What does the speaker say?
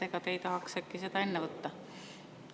Ega te ei tahaks äkki seda enne võtta?